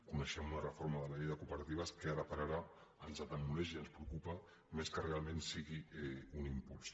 coneixem la reforma de la llei de cooperatives que ara per ara ens atemoreix i ens preocupa més que realment sigui un impuls